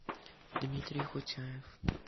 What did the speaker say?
дмитрий хутяев